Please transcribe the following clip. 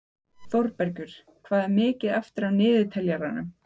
Þórbergur, hvað er mikið eftir af niðurteljaranum?